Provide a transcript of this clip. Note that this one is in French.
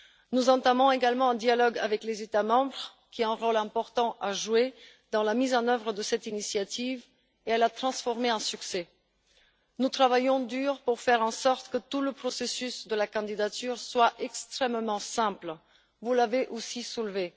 Nous entamons également un dialogue avec les États membres, qui ont un rôle important à jouer dans la mise en œuvre de cette initiative pour qu'elle soit un succès. Nous travaillons dur pour faire en sorte que tout le processus de la candidature soit extrêmement simple, point que vous avez aussi soulevé.